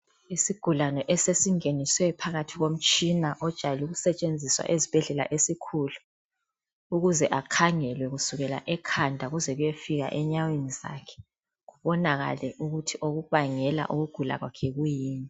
Isigulane esesingeniswe phakathi komtshina ojayel' ukusetshenziswa ezibhedlela esikhulu ukuze akhangelwe kusukela ekhanda kuze kuyefika enyaweni zakhe, kubonakala ukuthi okubangela ukugula kwakhe yikwiyini.